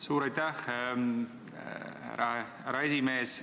Suur aitäh, härra esimees!